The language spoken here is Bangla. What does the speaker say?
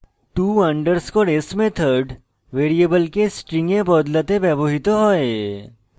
to _ s method ভ্যারিয়েবলকে string a বদলাতে ব্যবহৃত হয়